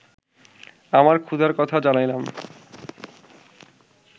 আমার ক্ষুধার কথা জানাইলাম